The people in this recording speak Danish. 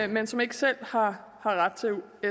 men som ikke selv har ret til